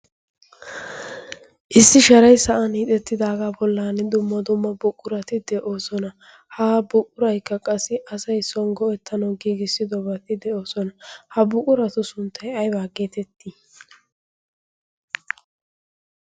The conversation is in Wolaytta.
issi sharay sa'an hiixettidaagaa bollan dumma dumma buqqurati de'oosona. ha buqquraikka qassi asai songgo ettano giigissidobati de'oosona ha buqquratu sunttay aibaaggeetettii?